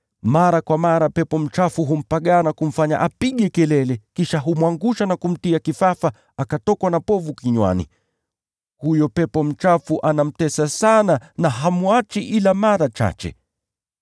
Mara kwa mara pepo mchafu humpagaa na kumfanya apige kelele, kisha humwangusha na kumtia kifafa hata akatokwa na povu kinywani. Huyo pepo mchafu anamtesa sana, na hamwachi ila mara chache.